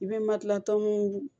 I bɛ makilatanu